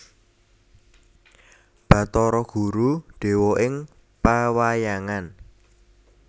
Bathara Guru dewa ing pewayangan